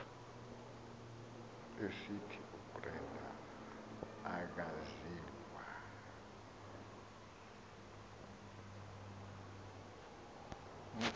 esithi ubrenda akaziwa